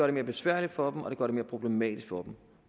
det mere besværligt for dem og det gør det mere problematisk for dem